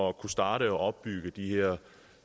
at kunne starte og opbygge den her